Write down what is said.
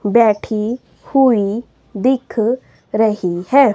बैठी हुई दिख रही है।